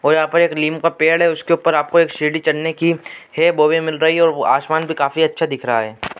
और यहाँ पे एक नीम का पेड़ है उसके ऊपर आप को सीढ़ी चढ़ने की है वो भी मिल रही है और आसमान भी काफी अच्छा दिख रहा है।